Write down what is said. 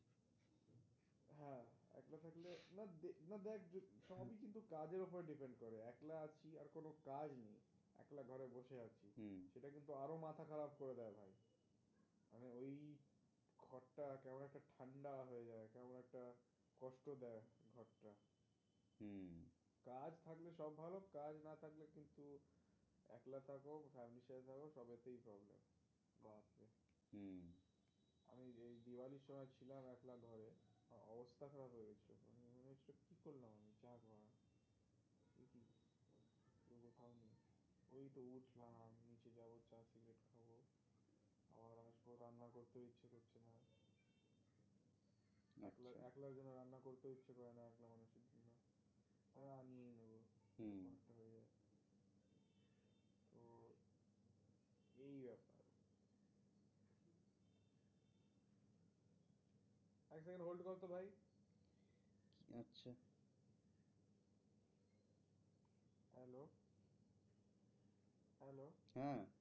হ্যাঁ